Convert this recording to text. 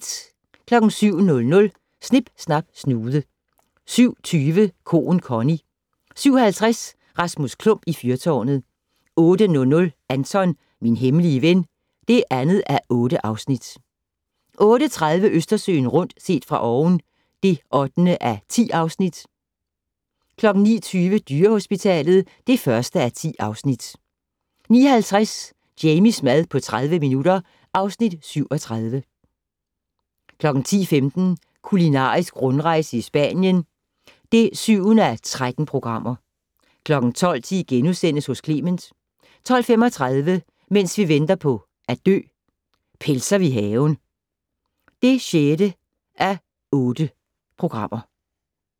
07:00: Snip Snap Snude 07:20: Koen Connie 07:50: Rasmus Klump i fyrtårnet 08:00: Anton - min hemmelige ven (2:8) 08:30: Østersøen rundt - set fra oven (8:10) 09:20: Dyrehospitalet (1:10) 09:50: Jamies mad på 30 minutter (Afs. 37) 10:15: Kulinarisk rundrejse i Spanien (7:13) 12:10: Hos Clement * 12:35: Mens vi venter på at dø - Pelser vi haven (6:8)